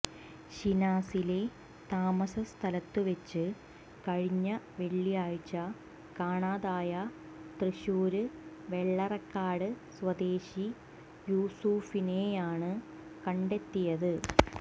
ശിനാസിലെ താമസ സ്ഥലത്തുവെച്ച് കഴിഞ്ഞ വെള്ളാഴ്ച കാണാതായ തൃശൂര് വെള്ളറക്കാട് സ്വദേശി യൂസുഫിനെയാണ് കണ്ടെത്തിയത്